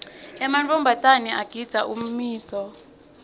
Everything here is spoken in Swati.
emantfombatana agindza ummiso